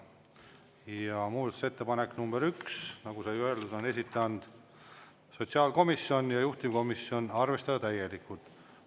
Ja muudatusettepanek nr 1, nagu sai öeldud, on esitanud sotsiaalkomisjon ja juhtivkomisjon: arvestada täielikult.